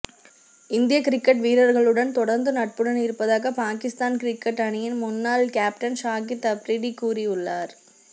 இந்திய கிரிக்கெட் வீரர்களுடன் தொடர்ந்து நட்புடன் இருப்பதாக பாகிஸ்தான் கிரிக்கெட் அணியின் முன்னாள் கேப்டன் ஷாகித் அப்ரிடி கூறியுள்ளார்